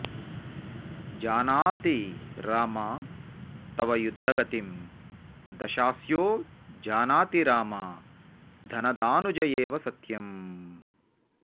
जानाति राम तव युद्धगतिं दशास्यो जानाति राम धनदानुज एव सत्यम्